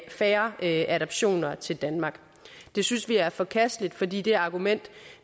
færre adoptioner til danmark det synes vi er forkasteligt fordi det argument